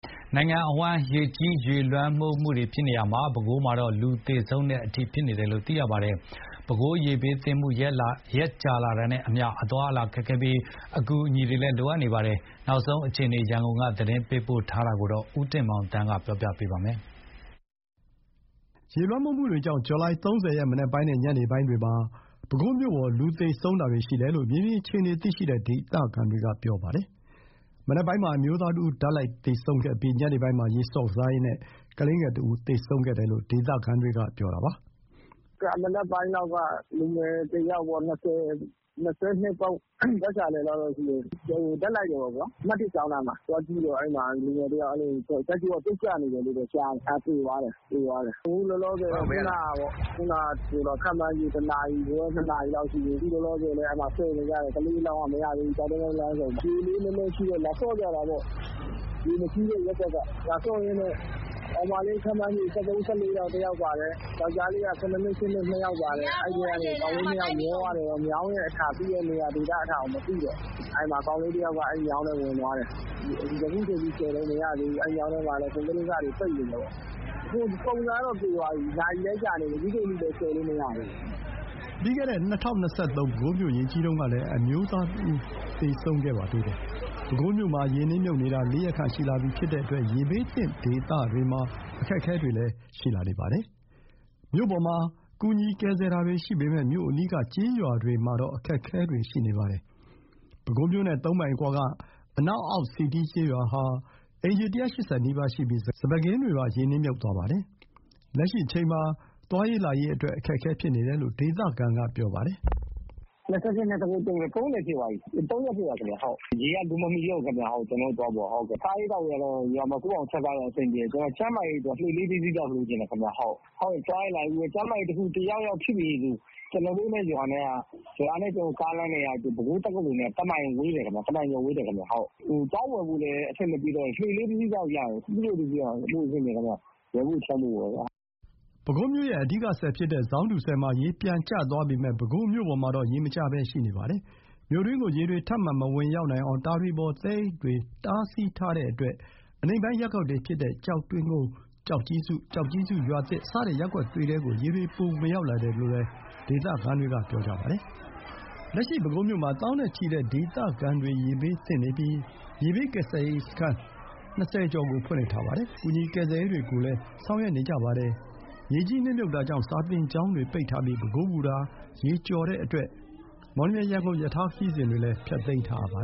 နိုင်ငံအဝန်းရေကြီးရေလွှမ်းနေတာမှာ ပဲခူးမှာတော့ လူသေဆုံးမှုအထိရှိနေတယ်လို့ သိရပါတယ်။ ပဲခူးရေဘေးသင့်မှု ရက်ကြာလာတာနဲ့အမျှ အသွားအလာတွေခက်ခဲပြီး အကူအညီတွေလည်း လိုအပ်နေပါတယ်။ နောက်ဆုံးအခြေအနေ ရန်ကုန်က သတင်းပေးပို့တာကို ဦးတင်မောင်သန်းက တင်ပြပေးထားပါတယ်။ ရေလွှမ်းမိုးမှုတွေကြောင့် ဇူလိုင် ၃၀ ရက် မနက်ပိုင်းနဲ့ညနေပိုင်းမှာ ပဲခူးမြို့ပေါ် လူသေဆုံးတာတွေရှိတယ်လို့ မြေပြင် အခြေအနေသိရှိတဲ့ ဒေသခံတွေက ပြောပါတယ်။ မနက်ပိုင်းမှာ အမျိုးသားတဦး ဓာတ်လိုက်သေဆုံးပြီး ညနေပိုင်းမှာ ရေဆော့ကစားရင်း ကလေးငယ်တဦးသေဆုံးတယ်လို့ ဒေသခံတွေက ပြောတာပါ။ "မနက်ပိုင်းက လူငယ်တယောက်ပေါ့။ ၂၂ ပတ်ချာလည်လောက်ရှိမယ်။ ဓာတ်လိုက်တယ်ပေါ့။ အမှတ် ကျောင်းနားမှာ အဲ့ဒါကသေသွားတယ်။ သွားကြည့်တော့ လူငယ်တယောက် ဓာတ်ကြိုးက ပြုတ်ကျနေတယ်လို့တော့ကြားတယ်။ အဲ့ဒါသေသွားတယ်။ အခုလောလောဆယ် ခန့်မှန်းခြေ ၁ နာရီခွဲ ၂ နာရီလောက်တော့ရှိမယ်။ ကလေးအလောင်းက ဆယ်နေကြတယ်။ ကျောက်တွင်းကုန်းလမ်းဆုံမှာ ရေလေးနည်းနည်းရှိတော့ လာဆော့ကြတာပေါ့။ ရေမရှိတဲ့ရပ်ကွက်က။ လာဆော့ရင်းနဲ့ ကောင်မလေး ခန့်မှန်းခြေ ၁၃-၁၄ လောက် တယောက်ပါတယ်။ ယောက်ကျားလေး ၇ နှစ်၊ ၈ နှစ်၊ ၂ ယောက် ပါတယ်။ အဲ့ထဲက ကောင်လေးနှစ်ယောက်မျောသွားတယ်။ မြောင်းရဲ့အထာကိုမသိတော့ ကောင်လေးတယောက်က အဲ့မြောင်းထဲဝင်သွားတယ်။ အခုချိန်ထိဆယ်တုန်း မရသေးဘူး။ အဲ့မြောင်းထဲ ကွန်ကရစ်အစတွေ ပိတ်နေတယ်ပေါ့။ ပုံစံကတော့ သေသွားပြီ။ နာရီလည်းကြာနေပြီ။ အခုချိန်ထိလည်းဆယ်မရသေးဘူး။" ပြီးခဲ့တဲ့ ၂၀၂၃ ပဲခူးမြို့ရေကြီးတုန်းကလည်း အမျိုးသားတဦးသေဆုံးခဲ့ပါသေးတယ်။ ပဲခူးမြို့မှာ ရေနစ်မြုပ်နေတာ ၄ ရက်ခန့်ရှိလာပြီဖြစ်တဲ့အတွက် ရေဘေးသင့်ဒေသခံတွေမှာ အခက်အခဲတွေလည်းရှိလာနေပါတယ်။ မြို့ပေါ်မှာ ကူညီကယ်ဆယ်တာတွေရှိပေမယ့် မြို့အနီးက ကျေးရွာတွေမှာတော့ အခက်အခဲတွေရှိနေပါတယ်။ ပဲခူးမြို့နဲ့ ၃ မိုင်အကွာကအနောက် အောက်စည်တီးကျေးရွာဟာ အိမ်ခြေ ၁၈၀ နီးပါးရှိပြီး စပါးခင်းတွေပါ ရေနစ်မြုပ်သွားပါတယ်။ လက်ရှိအချိန်မှာ သွားရေးလာရေးအတွက် အခက်အခဲဖြစ်နေတယ်လို့ ဒေသခံက ပြောပါတယ်။ "၂၈-၂၉-၃၀၊ ၃ ရက်ဖြစ်သွားပြီ။ ရေကလူမမီတော့ဘူး- ကျနော်တို့သွားဖို့က။ စားရေးသောက်ရေးက ရွာမှာကိုယ့်ဘာသာ ချက်စားရင်အဆင်ပြေတယ်။ ကျန်းမာရေးအတွက်က လှေလေးတစီးလောက် လိုချင်တယ်။ ကျန်းမာရေးတခုခုဖြစ်ပြီဆို ကျနော်တို့ရွာနဲ့ပဲခူးတက္ကသိုလ် ကားလမ်းနဲ့ကတမိုင်ဝေးတယ်။ သွားဝယ်ဖို့လည်း အဆင်မပြေတော့ဘူး။ စပိဘုတ်လေး တစီးလောက်ရရင် အဆင်ပြေတယ်။" ပဲခူးမြို့ရဲ့ အဓိကဆည်ဖြစ်တဲ့ ဇောင်းတူဆည်မှာ ရေပြန်ကျသွားပေမယ့် ပဲခူးမြို့ပေါ်မှာတော့ ရေမကျဘဲရှိနေပါတယ်။ မြို့တွင်းကို ရေတွေ ထပ်မံမဝင်ရောက်နိုင်အောင် တာတွေပေါ် သဲအိတ်တွေတားဆီးထားတဲ့အတွက် အနိမ့်ပိုင်းရပ်ကွက်တွေ ဖြစ်တဲ့ ကျောက်တွင်းကုန်း၊ ကျောက်ကြီးစု၊ ကျောက်ကြီးစု ရွာသစ် စတဲ့ရပ်ကွက်တွေထဲကို ရေတွေ ပိုဝင်ရောက်လာတယ်လို့လည်း ဒေသခံတွေက ပြောပါတယ်။ လက်ရှိပဲခူးမြို့မှာ သောင်းနဲ့ချီတဲ့ဒေသခံတွေ ရေဘေးသင့်နေပြီး ရေဘေးကယ်ဆယ်ရေးစခန်း ၂၀ ကျော် ဖွင့်လှစ်ထားပြီး ကူညီကယ်ဆယ်ရေးတွေ ဆောင်ရွက်နေကြပါတယ်။ ရေကြီးနစ်မြုပ်တာကြောင့် စာသင်ကျောင်းတွေပိတ်ထားပြီး ပဲခူး ဘူတာ ရေကျော်တဲ့အတွက် မော်လမြိုင်-ရန်ကုန် ရထားခရီးစဉ်တွေလည်း ဖျက်သိမ်းထားရပါ